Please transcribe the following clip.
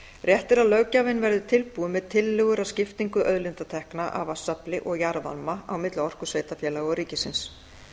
rétt er að löggjafinn verði tilbúinn með tillögur að skiptingu auðlindatekna af vatnsafli og jarðvarma á milli orkusveitarfélaga og ríkisins